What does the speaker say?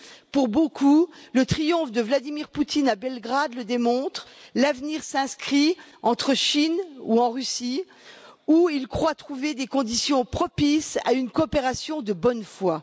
Pour beaucoup, le triomphe de Vladimir Poutine à Belgrade le démontre l'avenir s'inscrit entre Chine et Russie, où ils croient trouver des conditions propices à une coopération de bonne foi.